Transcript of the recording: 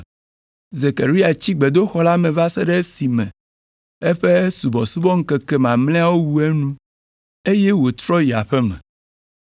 Zekaria tsi gbedoxɔ la me va se ɖe esime eƒe subɔsubɔŋkeke mamlɛawo wu enu, eye wòtrɔ yi aƒe me.